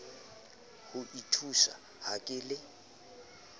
ho nthusa ha ke le